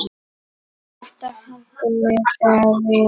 Þetta henti mig þegar við